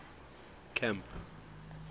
camp